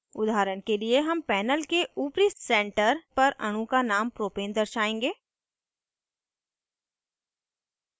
उदाहरण के लिए हम panel के ऊपरी center पर अणु का name propane दर्शाएंगे